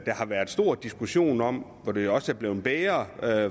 været stor diskussion om og hvor det jo også er blevet bedre